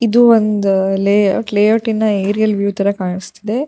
ಇದು ಒಂದು ಲೇ ಲೇಔಟ್ನ ಲೇಔಟ್ನ ನ ಏರಿಯಲ್ ವಿವ್ ತರ ಕಾನಿಸ್ತಿದೆ.